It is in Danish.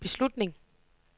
beslutning